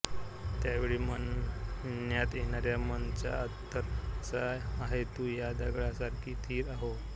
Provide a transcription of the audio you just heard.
त्यावेळी म्हणण्यात येणाऱ्या मं ाचा अथर् असा आहे तू या दगडासारखी िस्थर हो